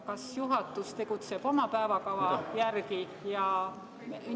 Kas juhatus tegutseb oma päevakava järgi?